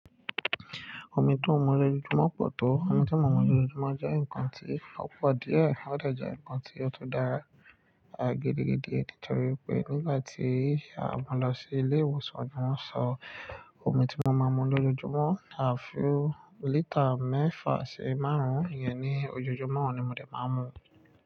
Omi to n mu lójoojúmọ́ pọ̀ tó. Omi tí mo máa ń mu lójoojúmọ́ jẹ́ nǹkan tí ó pọ̀ díẹ̀, ó dà jẹ́ ǹkan tí ó tó dára gidi gidí, nítorí pé nígbà tí ìyá mi lọ sí ilé ìwòsàn, ní wọ́n sọ omi tí mo máa ń mu lójoojúmọ́, à fíò lítà mẹ́fà sí márùn-ún, ìyẹn ni ojoojúmọ́ ni mo dà máa ń mu.